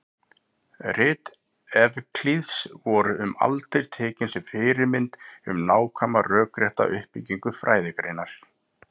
Rit Evklíðs voru um aldir tekin sem fyrirmynd um nákvæma rökrétta uppbyggingu fræðigreinar.